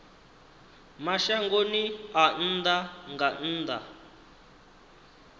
mashangoni a nnḓa nga nnḓa